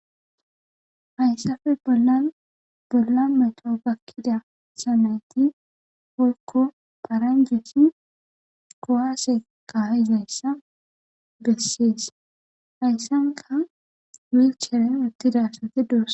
Hayssafe bollan bolla meto gakkida samayti woykko paranjeti kowaase ka7izayssa bessees hayssanka wilchere uttidasati de7oso.